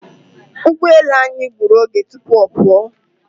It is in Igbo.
Ugboelu anyị gburu oge tụpụ ọ pụọ.